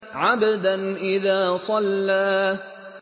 عَبْدًا إِذَا صَلَّىٰ